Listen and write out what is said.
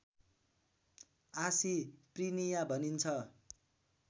आसी प्रिनिया भनिन्छ